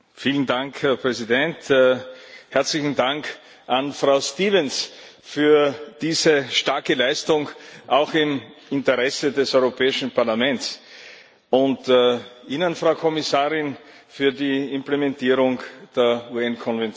Herr Präsident! Herzlichen Dank an Frau Stevens für diese starke Leistung auch im Interesse des Europäischen Parlaments und an Sie, Frau Kommissarin, für die Implementierung der VN Konvention.